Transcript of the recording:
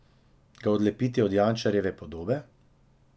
Ga odlepiti od Jančarjeve podobe?